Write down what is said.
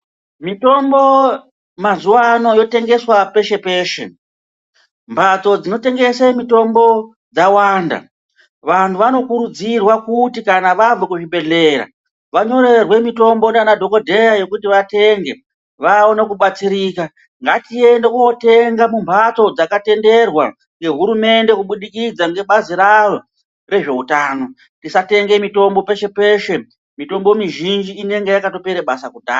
Mitombo mazuvano yotengeswa peshe-peshe. Mbatso dzinotengese mitombo dzawanda. Vanhu vanokurudzirwa kuti kana vabva kuzvibhedhlera vanyorerwe mitombo ndiana dhogodheya yekuti vatenge vaone kubatsirika. Ngatiende kuotenga mumbatso dzakatenderwa ngehurumende kubudikidza ngebazi raro rezveutano. Tisatenge mitombo peshe-peshe, mitombo mizhinji inenge yakatopere basa kudha...